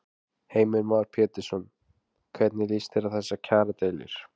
Heimir Már Pétursson: Hvernig lýst þér á þessar kjaradeilur?